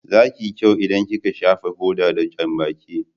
Za ki yi kyau in ki ka shafa hoda da janbaki